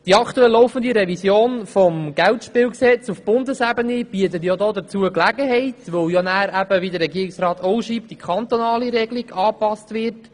Die aktuell laufende Revision des Geldspielgesetzes auf Bundesebene bietet dazu Gelegenheit, weil – wie der Regierungsrat auch schreibt – die kantonale Regelung angepasst wird.